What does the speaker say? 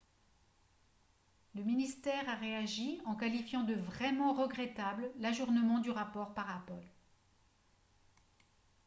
le ministère a réagi en qualifiant de « vraiment regrettable » l'ajournement du rapport par apple